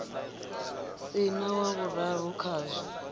si na wa vhuraru khazwo